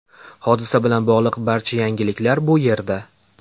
Hodisa bilan bog‘liq barcha yangiliklar bu yerda .